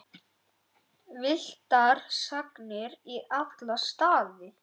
Villtar sagnir í alla staði.